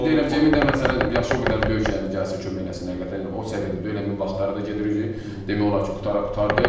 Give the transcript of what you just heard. Emin deyirəm, Emin də məsələn yaşı o qədər deyil ki, yəni gəlsin kömək eləsin, həqiqətən o səviyyədə deyil, Eminin vaxtları da gedir, demək olar ki, qurtara qurtardı.